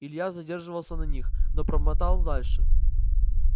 илья задерживался на них но промотал дальше